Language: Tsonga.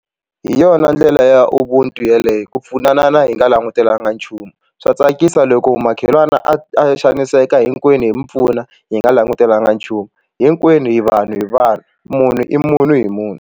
Hi yona ndlela ya ubuntu yeleyo ku pfunanana hi nga langutelanga nchumu swa tsakisa loko makhelwani a xaniseka hinkwenu hi mu pfuna hi nga langutelanga nchumu hinkwenu hi vanhu hi vanhu munhu i munhu hi munhu.